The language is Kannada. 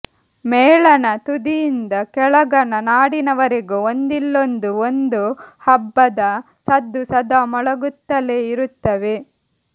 ಮೇಲಣ ತುದಿಯಿಂದ ಕೆಳಗಣ ನಾಡಿನವರೆಗೂ ಒಂದಿಲ್ಲೊಂದು ಒಂದು ಹಬ್ಬದ ಸದ್ದು ಸದಾ ಮೊಳಗುತ್ತಲೇ ಇರುತ್ತವೆ